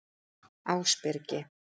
Ásbyrgi